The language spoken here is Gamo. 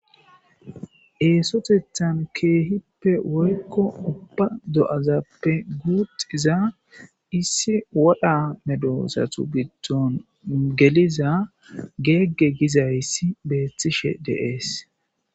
Eesotethan keehippe woykko ubba do7azappe guuxiza issi wodha medosatu giidon geliza geegge gizayssi beethtishe deees.